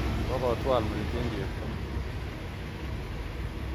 kokotwal metit eng chebto